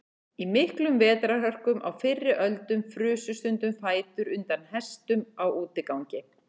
Í miklum vetrarhörkum á fyrri öldum frusu stundum fætur undan hestum á útigangi.